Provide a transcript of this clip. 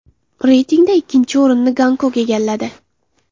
Reytingda ikkinchi o‘rinni Gonkong egalladi.